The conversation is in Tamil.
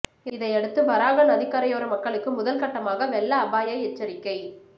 இதையடுத்து வராக நதி கரையோர மக்களுக்கு முதல்கட்டமாக வெள்ள அபாய எச்சரிக்கை